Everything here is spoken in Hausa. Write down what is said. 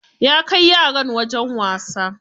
Ya kai yaran wajen wasa.